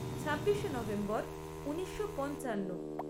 ছাব্বিশে নভেম্বর ঊনিশো পঞ্চান্ন